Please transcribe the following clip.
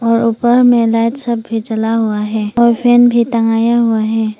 और ऊपर में लाइट सब भी जला हुआ है और फैन भी टंगाया हुआ है।